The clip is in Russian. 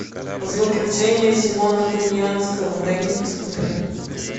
злоключения симона конианского дай мне посмотреть